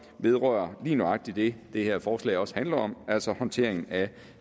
vedrører lige nøjagtig det det her forslag også handler om altså håndteringen af